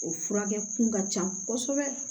O furakɛ kun ka ca kosɛbɛ